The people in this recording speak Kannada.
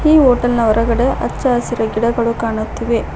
ಈ ಹೋಟೆಲ್ನ ಹೊರಗಡೆ ಅಚ್ಚಸುರು ಗಿಡಗಳು ಕಾಣುತ್ತಿವೆ.